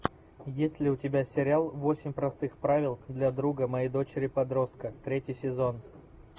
есть ли у тебя сериал восемь простых правил для друга моей дочери подростка третий сезон